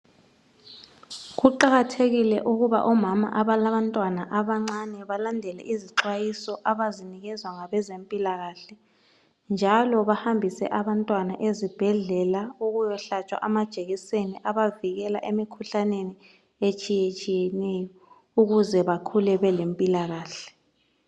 Kuqakathekile ukuba omama abalabantwana abancane balandele izixwayiso abazinikezwa ngabezempilakahle njalo bahambise abantwana ezibhedlela ukuyohlatshwa amajekiseni abavikela emikhuhlaneni etshiyetshiyeneyo ukuze bakhule belempilakahle.